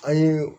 An ye